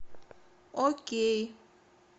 окей